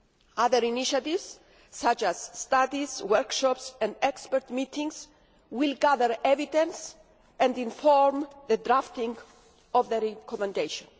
Other initiatives such as studies, workshops and expert meetings will gather evidence and inform the drafting of the Recommendation.